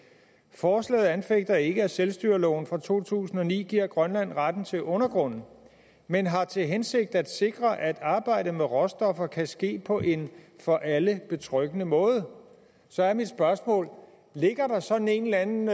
forslaget anfægter ikke at selvstyreloven fra to tusind og ni giver grønland retten til undergrunden men har til hensigt at sikre at arbejdet med råstoffer kan ske på en for alle betryggende måde så er mit spørgsmål ligger der sådan en eller anden